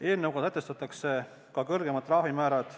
Eelnõuga sätestatakse ka kõrgemad trahvimäärad.